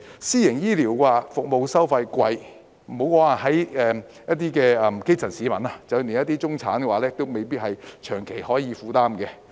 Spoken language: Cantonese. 私營醫療服務收費昂貴，莫說基層市民，連中產也未必能長期負擔。